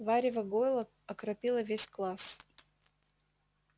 варево гойла окропило весь класс